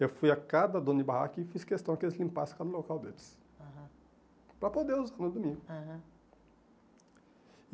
Eu fui a cada dono de barraco e fiz questão que eles limpassem cada local deles, aham, para poder usar no domingo.